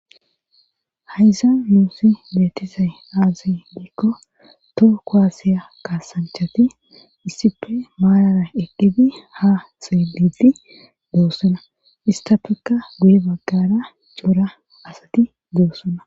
Hayza muusi beetisay aaziy diikko too koaasiya kaasanchati issippe maalara eqqidi ha seelidi doossona istafekka guye baggara cuura asati doossona.